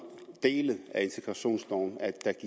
dele af integrationsloven